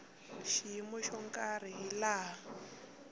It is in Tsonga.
xiyimo xo karhi hi laha